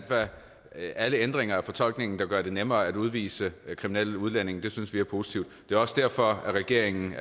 at alle ændringer af fortolkningen der gør det nemmere at udvise kriminelle udlændinge synes vi er positive det er også derfor at regeringen